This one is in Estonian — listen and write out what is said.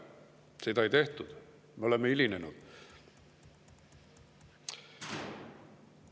Seda ei tehtud, me oleme hiljaks jäänud.